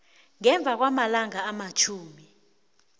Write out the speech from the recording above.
ngemva kwamalanga amatjhumi